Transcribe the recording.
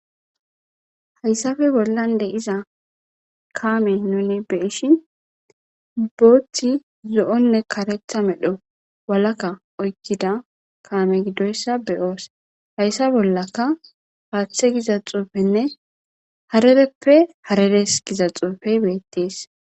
hayssafe bollan de'iza kaame nnuni be'ishin booththi zo'onne karetha medho walaka oykkida kaame giddoyssa beyoos hayssa bollaka haaththe giza xuufenne harereppe hareres giza xuufey beettees